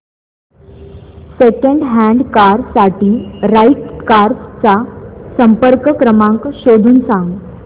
second hand car साठी right cars चा संपर्क क्रमांक शोधून सांग